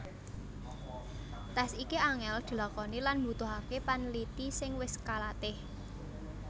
Tes iki angel dilakoni lan mbutuhake panliti sing wis kalatih